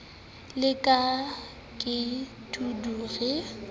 la ka ke dudu re